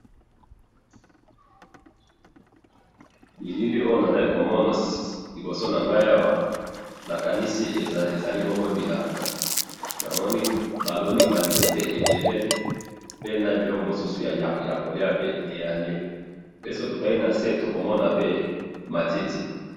bilili oyo nazali komona awa liboso nangayi awa nakandisi ezali bongo bilanga namoni ezali baloni ba nzete ebele p nabiloko misusu ya koliya ezali pe soki totali nase tokoki komona matiti